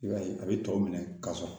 I b'a ye a bɛ tɔw minɛ ka sɔn